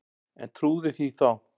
En trúði því þá.